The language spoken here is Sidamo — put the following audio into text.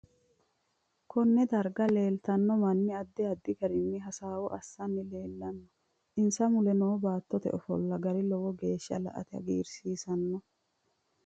Konne darga leetanno manni addi addi garinni hasaawo assani leelanno insa mule noo baatote ofolla gari lowo geesha la'ate hagiirsiisanno